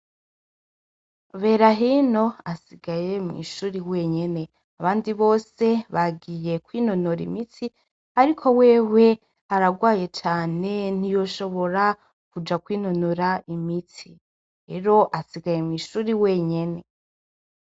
Berahino asigaye mw’ishuri wenyene. Abandi bose, bagiye kwinonora imitsi ariko wewe aragwaye cane ntiyoshobora kuja kwinonora imitsi. Rero asigaye mw’ishuri wenyene.